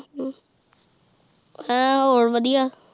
ਹਮ ਹਾਂ ਹੋਰ ਵਧੀਆ